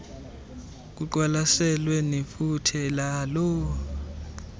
kuqwalaselwe nefuthe laloo